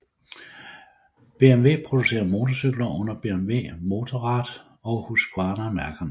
BMW producerer motorcykler under BMW Motorrad og Husqvarna mærkerne